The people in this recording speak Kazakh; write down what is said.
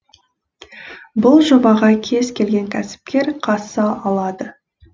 бұл жобаға кез келген кәсіпкер қатыса алады